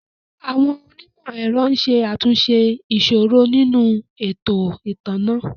Àwọn onímò ẹ̀rọ ń ṣe àtúnṣe ìṣòro nínú ètò ìtanná